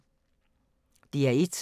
DR1